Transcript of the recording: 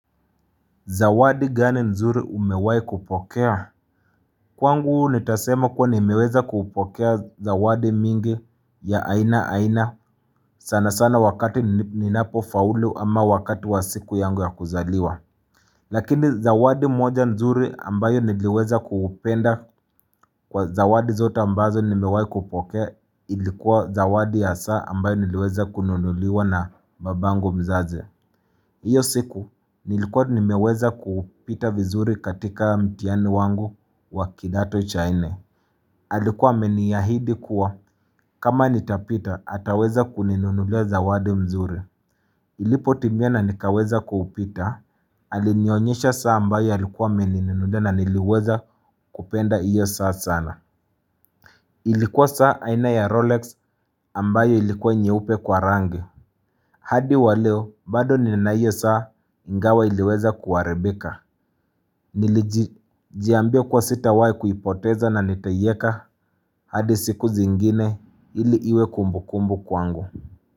Zawadi gani nzuri umewahi kupokea? Kwangu nitasema kuwa nimeweza kupokea zawadi mingi ya aina aina sana sana wakati ninapofaulu ama wakati wa siku yangu ya kuzaliwa. Lakini zawadi moja nzuri ambayo niliweza kupenda kwa zawadi zota ambazo nimeweza kupokea ilikuwa zawadi ya saa ambayo niliweza kununuliwa na babangu mzazi. Iyo siku nilikuwa nimeweza kuupita vizuri katika mtiani wangu wa kidato cha nne Alikuwa amenihidi kuwa kama nitapita ataweza kuninunulia zawadi mzuri Ilipotimia nikaweza kuupita alinionyesha saa ambayo alikuwa amenunulia na niliweza kupenda iyo saa sana Ilikuwa saa aina ya Rolex ambayo ilikuwa nyeupe kwa rangi hadi waleo, bado ninaio saa ingawa iliweza kuarabika. Nilijiambia kwa sitawahi kuipoteza na nitaieka hadi siku zingine ili iwe kumbu kumbu kwangu.